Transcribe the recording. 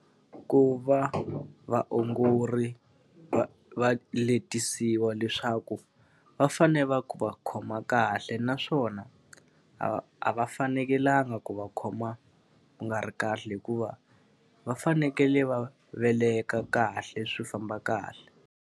Ku va vaongori va va letisiwa leswaku va fanele va va khoma kahle naswona, a a va fanekelanga ku va khoma ku nga ri kahle hikuva va fanekele va veleka kahle swi famba kahle.